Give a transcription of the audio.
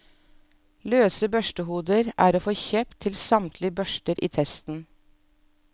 Løse børstehoder er å få kjøpt til samtlige børster i testen.